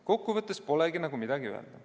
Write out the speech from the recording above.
Kokku võttes polegi nagu midagi öelda.